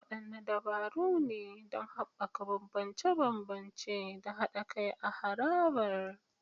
Wadanne dabaru ne don haɓaka bambance-bambance da haɗa kai a harabar?